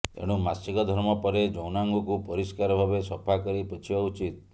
ଏଣୁ ମାସିକ ଧର୍ମ ପରେ ଯୌନାଙ୍ଗକୁ ପରିଷ୍କାର ଭାବେ ସଫା କରି ପୋଛିବା ଉଚିତ